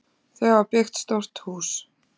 Þau hafa byggt stórt hús.